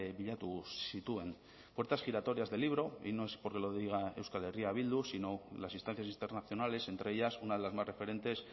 bilatu zituen puertas giratorias de libro y no es porque lo diga euskal herria bildu sino las instancias internacionales entre ellas una de las más referentes